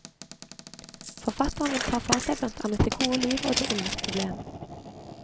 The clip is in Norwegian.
Forfatteren vil ta for seg blant annet det gode liv og det ondes problem.